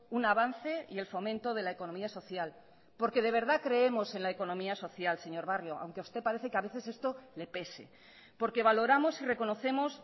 un avance y el fomento de la economía social porque de verdad creemos en la economía social señor barrio aunque a usted parece que a veces esto le pese porque valoramos y reconocemos